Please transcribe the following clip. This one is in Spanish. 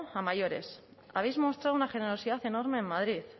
a mayores habéis mostrado una generosidad enorme en madrid